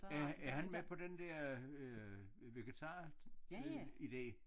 Ja er han med på den dér øh vegetar øh idé